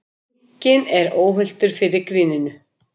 Enginn er óhultur fyrir gríninu